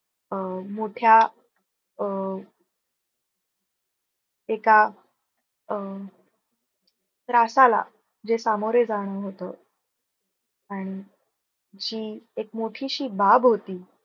अं मोट्या अं एका अं त्रासाला जे सामोरे जण होत आणि जी एक मोठीशी बाब होती.